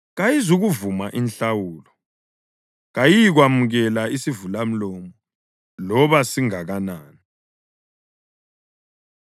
Kayizukuvuma inhlawulo; kayiyikwamukela isivalamlomo loba singakanani.